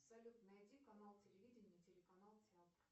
салют найди канал телевидения телеканал театр